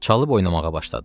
Çalıb oynamağa başladı.